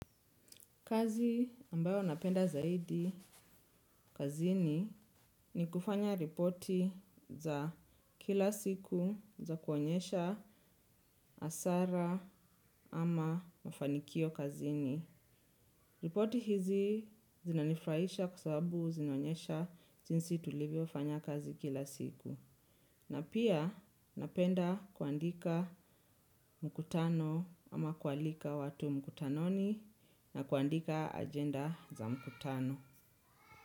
Kazi ambayo napenda zaidi kazini ni kufanya ripoti za kila siku za kuonyesha asara ama mafanikio kazini. Ripoti hizi zinanifraisha kwa sababu zinaonyesha jinsi tulivyo wafanya kazi kila siku. Na pia napenda kuandika mkutano ama kualika watu mkutanoni na kuandika agenda za mkutano.